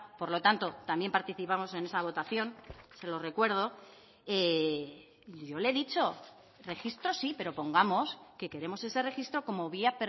por lo tanto también participamos en esa votación se lo recuerdo yo le he dicho registro sí pero pongamos que queremos ese registro como vía